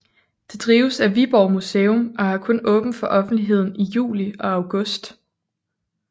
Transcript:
Det drives af Viborg Museum og har kun åbent for offentligheden i juli og august